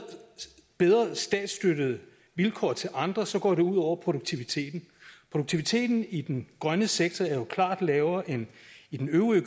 bedre statsstøttede vilkår til andre så går det ud over produktiviteten produktiviteten i den grønne sektor er jo klart lavere end i den øvrige